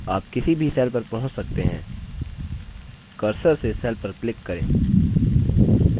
आप किसी भी cell पर पहुँच सकते हैं cursor से cell पर क्लिक करें